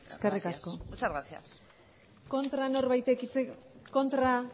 eskerrik asko gracias muchas gracias kontra